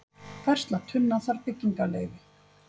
Færsla tunna þarf byggingarleyfi